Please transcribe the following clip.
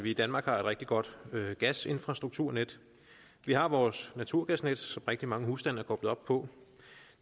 i danmark har et rigtig godt gasinfrastrukturnet vi har vores naturgasnet som rigtig mange husstande er koblet op på